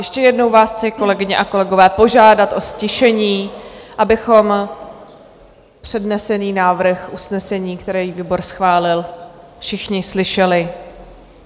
Ještě jednou vás chci, kolegyně a kolegové, požádat o ztišení, abychom přednesený návrh usnesení, který výbor schválil, všichni slyšeli.